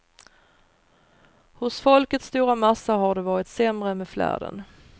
Hos folkets stora massa har det varit sämre med flärden.